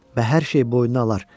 Və hər şeyi boynuna alar.